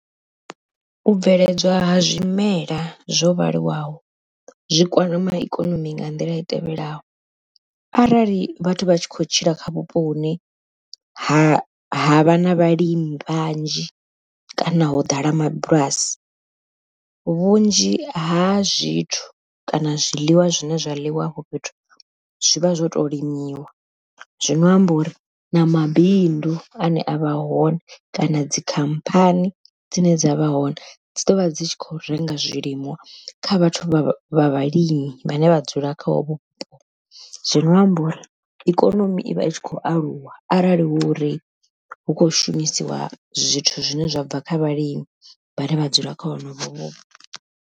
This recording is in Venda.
U bveledzwa ha zwimela zwo vhaliwaho zwikwama ikonomi nga nḓila i tevhelaho arali vhathu vha tshi khou tshila kha vhupo hune ha vha na vhalimi vhanzhi, kana ho ḓala mabulasi. Vhunzhi ha zwithu kana zwiḽiwa zwine zwa ḽiwa hafho fhethu zwivha zwo to limiwa zwino amba uri na mabindu ane avha hone kana dzikhamphani dzine dzavha hone, dzi ḓovha dzi tshi kho renga zwilimwa kha vhathu vha vha vhalimi vhane vha dzula kha hovho vhupo. Zwino amba uri ikonomi ivha i tshi khou aluwa arali hu uri hu kho shumisiwa zwithu zwine zwa bva kha vhalimi vha ne vha dzula kha honovho vhupo.